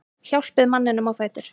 Hjálpið manninum á fætur.